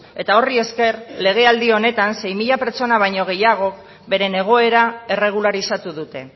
eta horri esker legealdi honetan sei mila pertsona baino gehiagok beren egoera erregularizatu dute